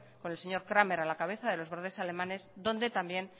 con el señor cramer a la cabeza de los grandes alemanes donde también